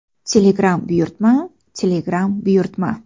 Telegram buyurtma: Telegram buyurtma .